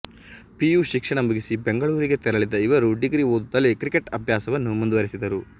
PU ಶಿಕ್ಷಣ ಮುಗಿಸಿ ಬೆಂಗಳೂರಿಗೆ ತೆರಳಿದ ಇವರು ಡಿಗ್ರಿ ಓದುತ್ತಲೇ ಕ್ರಿಕೆಟ್ ಅಭ್ಯಾಸವನ್ನೂ ಮುಂದುವರೆಸಿದರು